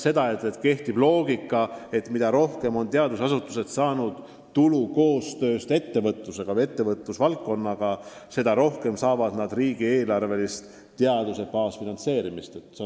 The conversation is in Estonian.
See tähendab arusaama, et mida rohkem on teadusasutused saanud tulu koostööst ettevõtlusega või ettevõtlusvaldkonnaga, seda rohkem riigieelarvelist teaduse baasfinantseerimist neile võimaldatakse.